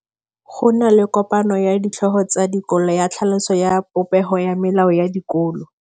Go na le kopanô ya ditlhogo tsa dikolo ya tlhaloso ya popêgô ya melao ya dikolo.